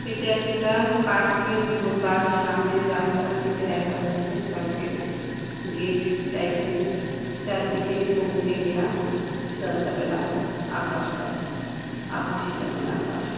এটা একটা পার্কে এর ঢোকার সামনে রাস্তা থেকে দেখা যাচ্ছে পার্কে -এর গেট টাইপ এর চারদিকে সবুজে ঘেরা রাস্তাটা লাল আকাশটা আকাশী রঙের আকাশ ।